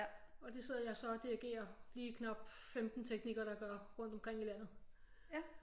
Og det sidder jeg så og dirigerer lige knapt 15 teknikere der gør rundt omkring i landet